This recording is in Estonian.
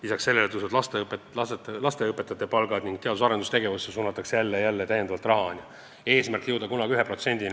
Lisaks sellele tõusevad lasteaiaõpetajate palgad ning jälle ja jälle suunatakse täiendavat raha teadus- ja arendustegevusse.